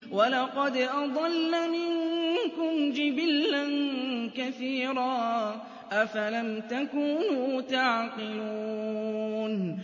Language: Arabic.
وَلَقَدْ أَضَلَّ مِنكُمْ جِبِلًّا كَثِيرًا ۖ أَفَلَمْ تَكُونُوا تَعْقِلُونَ